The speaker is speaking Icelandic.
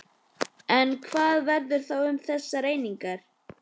En hvað verður þá um þessar einingar?